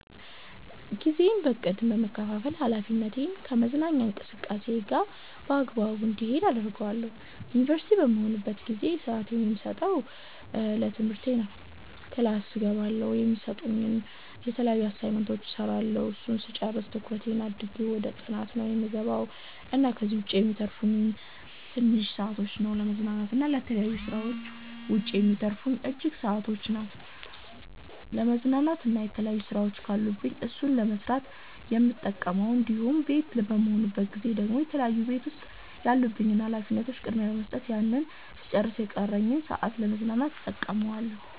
ጊዜዬን በ እቅድ በመከፋፈል ሀላፊነቴን ከመዝናኛ እንቅስቃሴየ ጋር በአግባቡ እንዲሄድ አደርገዋለሁ። ዩንቨርሲቲ በምሆንበት ጊዜ ብዙ ስአቴን የምሰጠው ለትምህርቴ ነው ክላስ እገባለሁ፣ የሚሰጡንን የተለያዩ አሳይመንቶች እስራለሁ እሱን ስጨርስ ትኩረት አድርጌ ወደ ጥናት ነው የምገባው እና ከዚህ ዉጭ የሚተርፉኝን ትንሽ ሰአቶች ነው ለመዝናናት እና የተለያዩ ስራወች ካሉኝ እሱን ለመስራት የምጠቀመው እንዲሁም ቤት በምሆንበት ጊዜ ደግሞ የተለያዩ ቤት ዉስጥ ያሉብኝን ሀላፊነቶች ቅድሚያ በመስጠት ያንን ስጨርስ የቀረኝን ሰአት ለ መዝናናት እተቀመዋለሁ